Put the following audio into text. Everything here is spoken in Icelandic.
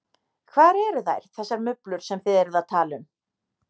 Hvar eru þær, þessar mublur sem þið eruð að tala um?